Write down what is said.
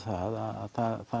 að það